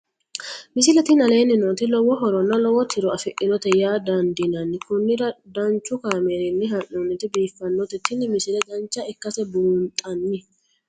misile tini aleenni nooti lowo horonna lowo tiro afidhinote yaa dandiinanni konnira danchu kaameerinni haa'noonnite biiffannote tini misile dancha ikkase buunxanni